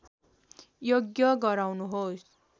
यज्ञ गराउनुहोस्